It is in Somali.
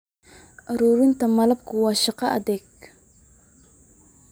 Ururinta malabka waa shaqo adag.